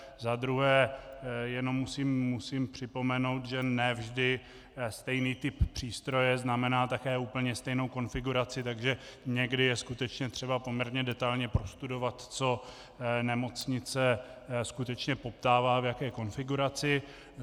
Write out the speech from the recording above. Za druhé jenom musím připomenout, že ne vždy stejný typ přístroje znamená také úplně stejnou konfiguraci, takže někdy je skutečně třeba poměrně detailně prostudovat, co nemocnice skutečně poptává, v jaké konfiguraci.